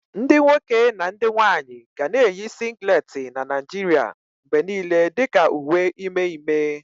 Ndị nwoke na ndị nwanyị ga na-eyi singileti na Naijiria mgbe niile dị ka uwe ime ime.